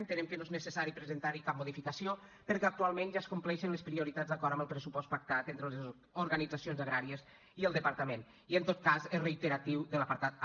entenem que no és necessari presentar hi cap modificació perquè actualment ja es compleixen les prioritats d’acord amb el pressupost pactat entre les organitzacions agràries i el departament i en tot cas és reiteratiu de l’apartat a